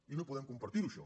i no podem compar·tir·ho això